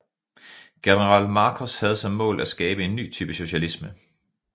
General Markos havde som mål at skabe en ny type socialisme